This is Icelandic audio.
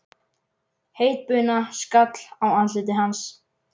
Heit buna skall á andliti hans.